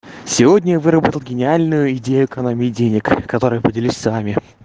сегодня вырвал гениальную идею экономии денег которой я поделись с вами